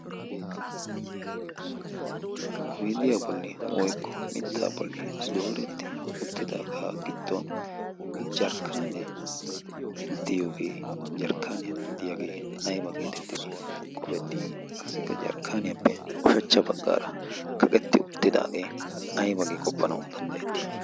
owidiyaa bolli woyqqo mittaa bolli dooretti uttidaagaa gidduwn jarkkanee diyoogee jarkkaaniyaa diyaagee ayba geetettidi qofettii qassikka jarkkaaniyaappe oshachcha baggaara kaqetti uttidaagee aybagi qoppanawu danddayettii ?